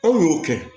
Aw y'o kɛ